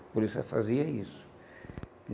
A polícia fazia isso.